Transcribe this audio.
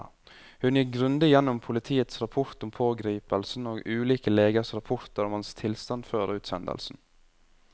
Hun gikk grundig gjennom politiets rapport om pågripelsen og ulike legers rapporter om hans tilstand før utsendelsen.